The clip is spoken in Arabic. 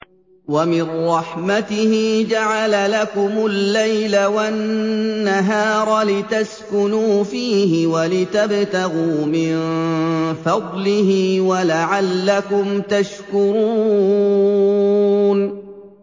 وَمِن رَّحْمَتِهِ جَعَلَ لَكُمُ اللَّيْلَ وَالنَّهَارَ لِتَسْكُنُوا فِيهِ وَلِتَبْتَغُوا مِن فَضْلِهِ وَلَعَلَّكُمْ تَشْكُرُونَ